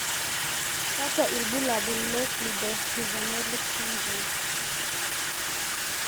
kakwa ibulabul ns Cleidorhizomelic syndrome.